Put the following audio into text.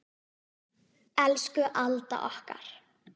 Elsku Alda okkar.